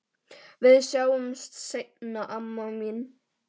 Við sjáumst seinna, amma mín.